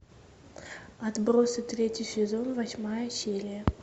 отбросы третий сезон восьмая серия